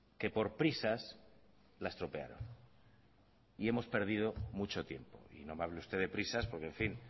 que por prisas la estropearon y hemos perdido mucho tiempo y no me hable usted de prisas porque en fin